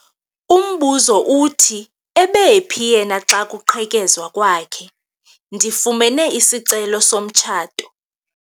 Umbuzo uthi ebephi yena xa kuqhekezwa kwakhe? ndifumene isicelo somtshato